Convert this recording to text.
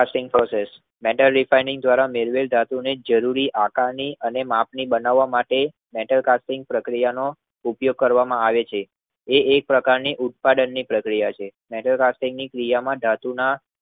Metal દીપાઇમિંગ દ્વારા ધાતુ ની જરૂરી આકાર ની અને મેપ ની બનાવા માટે મેટલ કાર્ટિંગ પ્રક્રિયાનો ઉપયોગ કરવામાં આવે છે. એ એક પ્રકારની ઉત્પાદનની પ્રક્રિયા છે. મેટલ કાર્ટિંગ ક્રિયામાં ધાતુના